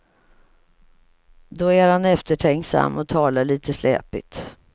Då är han eftertänksam och talar lite släpigt.